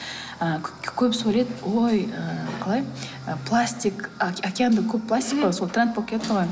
ы көбісі ойлайды ой ыыы қалай пластик океанда көп пластик қой сол тренд болып кетті ғой